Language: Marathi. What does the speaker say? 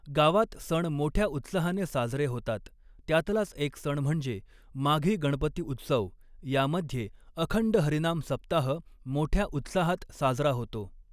गावात सण मोठ्या उत्साहाने साजरे होतात त्यातलाच एक सण म्हणजे माघी गणपती उत्सव यामध्ये अखंड हरिनाम सप्ताह मोठ्या उत्साहात साजरा होतो.